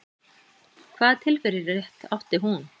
Hvaða tilverurétt átti hún?